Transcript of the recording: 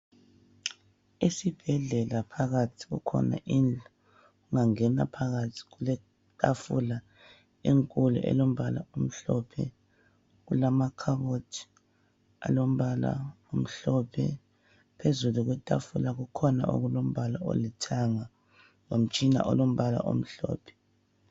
Esibhedlela phakathi kukhona indlu , ungangena phakathi kuletafula enkulu elombala omhlophe , kulamakhabothi alombala omhlophe , phezulu kwetafula kukhona okulombala olithanga lomtshina olombala omhlophe